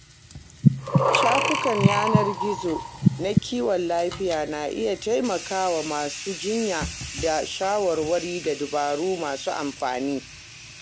Shafukan yanar gizo na kiwon lafiya na iya taimaka wa masu jinya da shawarwari da dabaru masu amfani.